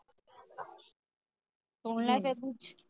ਸੁਣ ਲੈ ਫੇਰ ਕੁਛ